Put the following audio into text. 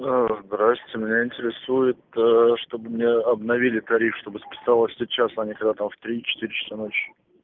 да здравствуйте меня интересует чтобы мне обновили тариф чтобы списалось сейчас а не когда-то в три четыре часа ночи